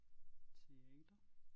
Teater